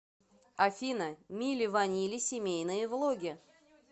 афина мили ванили семейные влоги